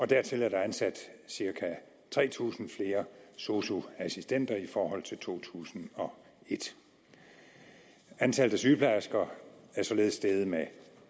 dertil er der ansat cirka tre tusind flere sosu assistenter i forhold til i to tusind og et antallet af sygeplejersker er således steget med